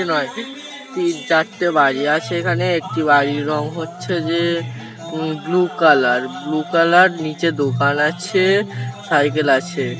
তিন চারটে বাড়ি আছে এখানে। একটি বাড়ির রং হচ্ছে যে um blue colour blue colour. নিচে দোকান আছে সাইকেল আছে ।